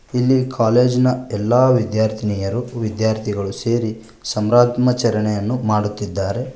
ಇಲ್ಲಿ ಕಾಲೇಜಿನ ಎಲ್ಲಾ ವಿದ್ಯಾರ್ಥಿನಿಯರು ವಿದ್ಯಾರ್ಥಿಗಳು ಸೇರಿ ಸಂರಾತ್ಮಚರಣೆಯನ್ನು ಮಾಡುತ್ತಿದ್ದಾರೆ.